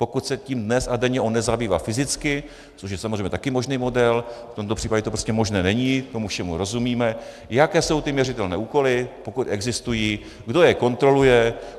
Pokud se tím dnes a denně on nezabývá fyzicky, což je samozřejmě také možný model, v tomto případě to prostě možné není, tomu všemu rozumíme, jaké jsou ty měřitelné úkoly, pokud existují, kdo je kontroluje?